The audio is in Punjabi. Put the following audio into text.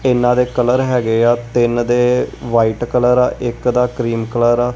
ਇਹਨਾਂ ਦੇ ਕਲਰ ਹੈਗੇ ਆ ਤਿੰਨ ਦੇ ਵਾਈਟ ਕਲਰ ਆ ਇੱਕ ਦਾ ਕ੍ਰੀਮ ਕਲਰ ਆ।